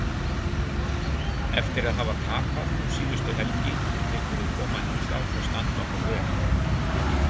Eftir að hafa tapað um síðustu helgi vildum við koma hingað og standa okkur vel